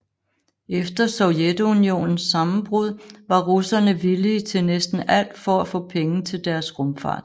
Efter Sovjetunionens sammenbrud var russerne villige til næsten alt for at få penge til deres rumfart